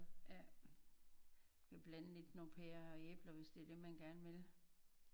Ja du kan blande lidt nogen pærer og æbler hvis det er det man gerne vil